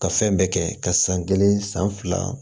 Ka fɛn bɛɛ kɛ ka san kelen san fila